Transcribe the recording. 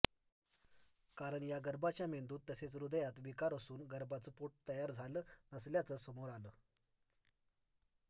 कारण या गर्भाच्या मेंदूत तसेच हृदयात विकार असून गर्भाचं पोटच तयार झालं नसल्याचं समोर आलं